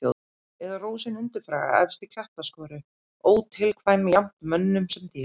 Eða rósin undurfagra efst í klettaskoru, ótilkvæm jafnt mönnum sem dýrum.